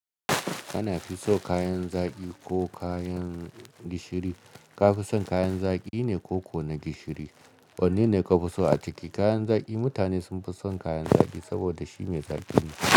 Kana fi so kayan zaƙi ko kayan gishiri? Ka fi son kayan zaƙi ne ko ko na gishiri? Wanne ne ka fi so a ciki? Kayan zaƙi mutane sun fi son kayan zaƙi saboda shi mai zaƙi ne.